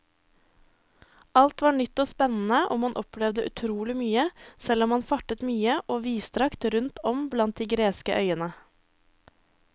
Alt var nytt og spennende og man opplevde utrolig mye, selv om man fartet mye og vidstrakt rundt om blant de greske øyene.